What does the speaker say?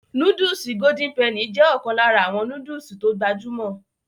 Nóódùsì Golden penny jé ọ̀kan lára àwọn nóódùsì tó gbajúmọ̀